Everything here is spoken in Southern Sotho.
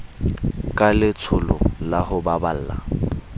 ka letsholo la ho baballa